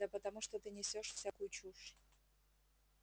да потому что ты несёшь всякую чушь